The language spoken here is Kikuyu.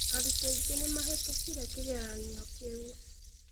Arutwo aingĩ nĩ maahĩtũkire kĩgeranio kĩu.